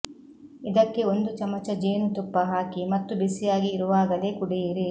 ಇದಕ್ಕೆ ಒಂದು ಚಮಚ ಜೇನುತುಪ್ಪ ಹಾಕಿ ಮತ್ತು ಬಿಸಿಯಾಗಿ ಇರುವಾಗಲೇ ಕುಡಿಯಿರಿ